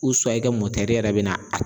i ka mɔtɛri yɛrɛ bɛna a